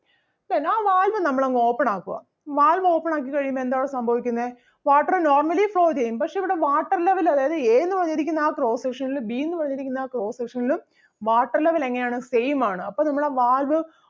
അപ്പൊ എന്നാ ആ valve നമ്മൾ അങ്ങ് open ആക്കുവ. valve open ആക്കി കഴിയുമ്പോ എന്താ അവിടെ സംഭവിക്കുന്നേ water normally flow ചെയ്യും പക്ഷെ ഇവിടെ water level അതായത് A എന്ന് പറഞ്ഞിരിക്കുന്ന ആ cross section ലും B എന്നുപറഞ്ഞിരിക്കുന്ന ആ cross section ലും water level എങ്ങനെ ആണ് same ആണ് അപ്പൊ നമ്മള് ആ valve